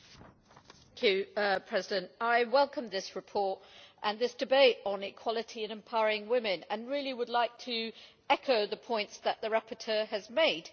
Mr President, I welcome this report and this debate on equality and empowering women and really would like to echo the points that the rapporteur has made.